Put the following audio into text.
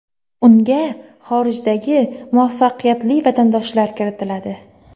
Unga xorijdagi muvaffaqiyatli vatandoshlar kiritiladi.